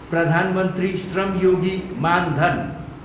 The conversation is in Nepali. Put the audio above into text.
प्रधान मन्त्री श्रम योगी मान धन